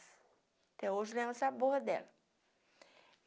Até hoje eu lembro o sabor dela.